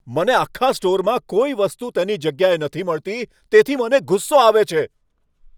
મને આખા સ્ટોરમાં કોઈ વસ્તુ તેની જગ્યાએ નથી મળતી, તેથી મને ગુસ્સો આવે છે.